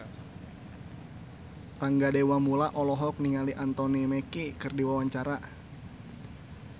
Rangga Dewamoela olohok ningali Anthony Mackie keur diwawancara